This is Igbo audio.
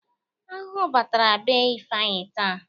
Ahụhụ batara be Ifeanyi taata.